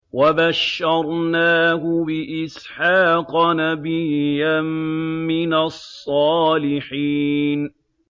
وَبَشَّرْنَاهُ بِإِسْحَاقَ نَبِيًّا مِّنَ الصَّالِحِينَ